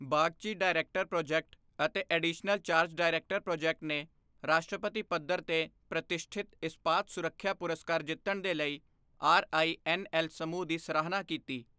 Bagchi, director project ਅਤੇ additional charge director project ਨੇ ਰਾਸ਼ਟਰੀ ਪੱਧਰ ਤੇ ਪ੍ਰਤਿਸ਼ਠਿਤ ਇਸਪਾਤ ਸੁਰੱਖਿਆ ਪੁਰਸਕਾਰ ਜਿੱਤਣ ਦੇ ਲਈ ਆਰ ਆਈ ਐੱਨ ਐੱਲ ਸਮੂਹ ਦੀ ਸਰਾਹਨਾ ਕੀਤੀ।